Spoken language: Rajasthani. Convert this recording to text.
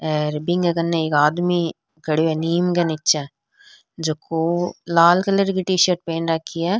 और बिन्के कने एक आदमी खड़यो है नीम के निचे जको लाल कलर की टी-शर्ट पहन राखी है।